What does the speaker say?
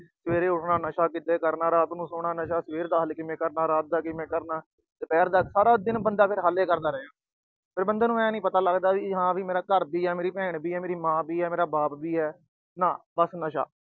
ਸਵੇਰੇ ਉਠਣਾ, ਨਸ਼ਾ ਕਿਦਾ ਕਰਨਾ, ਰਾਤ ਨੂੰ ਸੌਣਾ, ਨਸ਼ਾ ਰਾਤ ਦਾ ਸਵੇਰੇ ਹਾਲੇ ਕਿਵੇਂ ਕਰਨਾ, ਰਾਤ ਦਾ ਕਿਵੇਂ ਕਰਨਾ, ਦੁਪਹਿਰ ਦਾ, ਸਾਰਾ ਦਿਨ ਫਿਰ ਬੰਦਾ ਹੱਲ ਹੀ ਕਰਦਾ ਰਹਿ ਜਾਂਦਾ। ਫਿਰ ਬੰਦੇ ਨੂੰ ਆਏ ਨੀ ਪਤਾ ਲੱਗਦਾ, ਮੇਰਾ ਘਰ ਵੀ ਆ, ਮੇਰੀ ਭੈਣ ਵੀ ਆ, ਮੇਰੀ ਮਾਂ ਵੀ ਆ, ਮੇਰਾ ਬਾਪ ਵੀ ਆ, ਨਾ ਬਸ ਨਸ਼ਾ।